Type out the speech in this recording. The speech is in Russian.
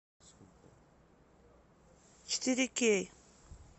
четыре кей